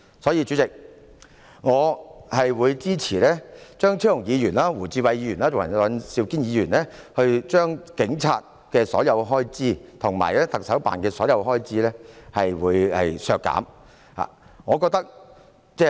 所以，主席，我會支持張超雄議員、胡志偉議員及尹兆堅議員將香港警務處及特首辦所有開支削減的修訂議案。